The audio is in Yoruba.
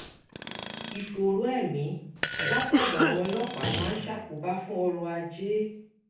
ìfòòró ẹ̀mí látọ̀dọ̀ àwọn ọlọ́pàá máa ń ṣàkóbá fún ọrọ̀ ajé